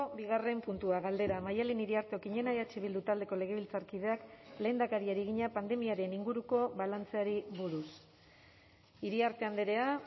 bigarren puntua galdera maddalen iriarte okiñena eh bildu taldeko legebiltzarkideak lehendakariari egina pandemiaren inguruko balantzeari buruz iriarte andrea